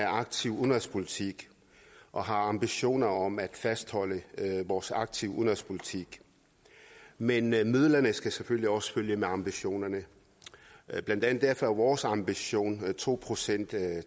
aktiv udenrigspolitik og har ambitioner om at fastholde vores aktive udenrigspolitik men midlerne skal selvfølgelig også følge med ambitionerne blandt andet derfor er vores ambition at to procent af